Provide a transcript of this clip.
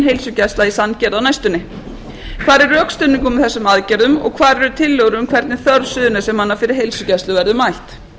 heilsugæsla í sandgerði á næstunni hvar er rökstuðningur með þessum aðgerðum og hvar eru tillögur um hvernig þörf suðurnesjamanna fyrir heilsugæslu verður mætt